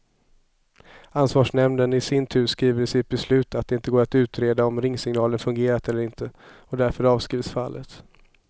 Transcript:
Ansvarsnämnden i sin tur skriver i sitt beslut att det inte går att utreda om ringsignalen fungerat eller inte, och därför avskrivs fallet.